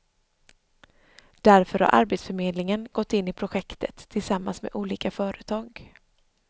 Därför har arbetsförmedlingen gått in i projektet tillsammans med olika företag.